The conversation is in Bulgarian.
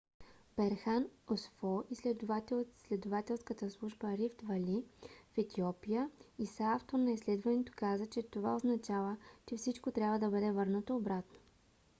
берхан асфо изследовател от изследователската служба рифт вали в етиопия и съавтор на изследването каза че това означава че всичко трябва да бъде върнато обратно